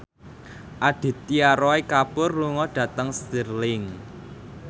Aditya Roy Kapoor lunga dhateng Stirling